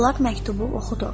Polad məktubu oxudu.